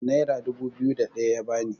naira dubu biyu da ɗaya ya bani